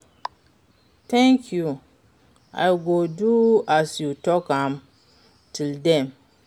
Thank you, i go do as you talk am, till den.